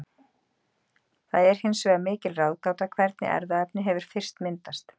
Það er hins vegar mikil ráðgáta hvernig erfðaefni hefur fyrst myndast.